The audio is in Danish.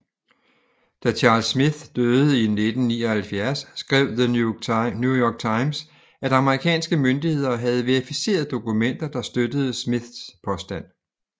Da Charles Smith døde i 1979 skrev New York Times at amerikanske myndigheder havde verificeret dokumenter der støttede Smiths påstand